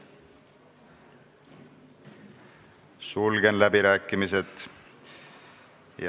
Sulgen läbirääkimised.